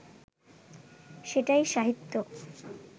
সেটাই সাহিত্য